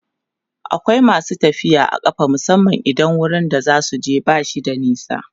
akwai masu tafiya a ƙafa musamman idan wurin da zasuje bashi da nisa